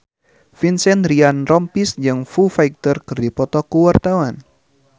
Vincent Ryan Rompies jeung Foo Fighter keur dipoto ku wartawan